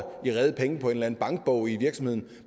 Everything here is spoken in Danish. på en eller en bankbog i virksomheden